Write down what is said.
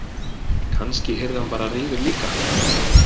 Kannski yrði hann bara reiður líka.